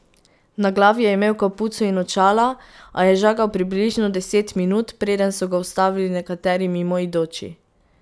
Na glavi je imel kapuco in očala, a je žagal približno deset minut, preden so ga ustavili nekateri mimoidoči.